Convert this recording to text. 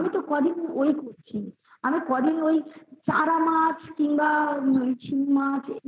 আমি তো ক দিন আমি তো কই দিন ঐই চারামাছ কিংবা শিঙমাছ কি